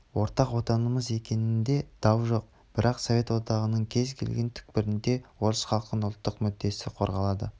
ортақ отанымыз екенінде дау жоқ бірақ совет одағының кез келген түкпірінде орыс халқының ұлттық мүддесі қорғалады